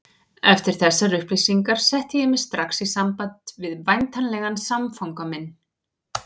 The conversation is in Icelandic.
Eftir þessar upplýsingar setti ég mig strax í samband við væntanlegan samfanga minn.